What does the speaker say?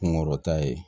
Kunkɔrɔta ye